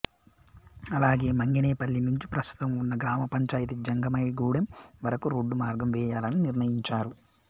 అలాగే మంగేనపల్లి నుంచి ప్రస్తుతం వున్న గ్రామ పంచాయితీ జంగమైగుడెం వరకు రోడ్డు మార్గం వేయాలని నిర్ణయించారు